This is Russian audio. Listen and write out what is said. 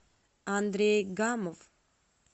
андрей гамов